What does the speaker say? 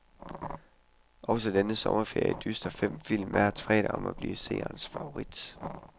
Også denne sommerferie dyster fem film hver fredag om at blive seernes favorit.